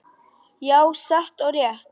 Já, satt og rétt.